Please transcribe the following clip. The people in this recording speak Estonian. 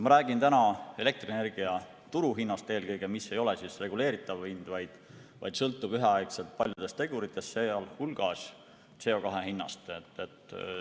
Ma räägin täna eelkõige elektrienergia turuhinnast, mis ei ole reguleeritav hind, vaid sõltub üheaegselt paljudest teguritest, sealhulgas CO2 hinnast.